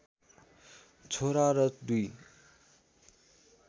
छोरा र दुई